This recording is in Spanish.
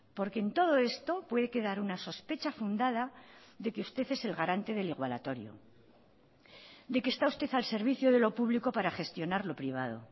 porque en todo esto puede quedar una sospecha fundada de que usted es el garante del igualatorio de que está usted al servicio de lo público para gestionar lo privado